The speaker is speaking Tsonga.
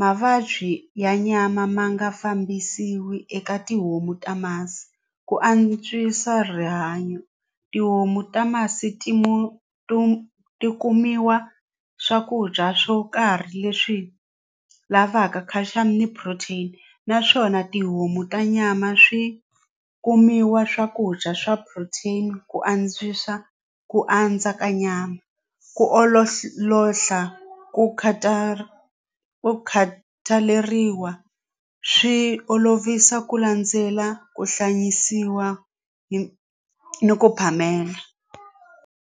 mavabyi ya nyama ma nga fambisiwi eka tihomu ta masi ku antswisa rihanyo tihomu ta masi ti mu to ti kumiwa swakudya swo karhi leswi lavaka calcium ni protein naswona tihomu ta nyama swi kumiwa swakudya swa protein ku antswisa ku andza ka nyama ku ololoxa ku ku khataleriwa swi olovisa ku landzela ku hlayisiwa hi ku phamela.